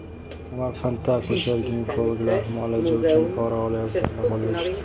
Samarqandda akusher-ginekologlar muolaja uchun pora olayotganda qo‘lga tushdi .